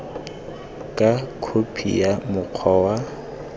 ka khophi ya mokgwa wa